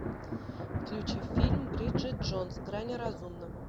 включи фильм бриджит джонс грани разумного